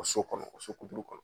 So kɔnɔ o sokuturu kɔnɔ